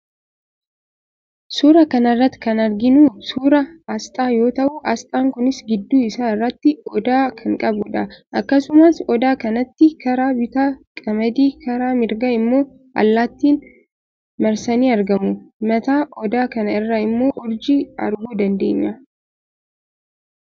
Suuraa kana irratti kan arginu suuraa asxaa yoo ta'u, asxaan kunis gidduu isaa irratti Odaa kan qabudha. Akkasumas, Odaa kanatti karaa bitaa qamadii, karaa mirgaa immoo allaattiin marsanii argamu. Mataa Odaa kana irra immoo urjii arguu dandeenya.